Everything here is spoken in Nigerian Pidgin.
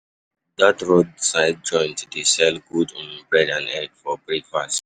Dat roadside joint dey sell good um um bread and egg um for breakfast.